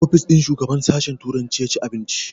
A ofis ɗin shugaban sashen turanci ya ci abinci